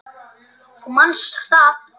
Þú manst það.